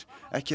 ekki er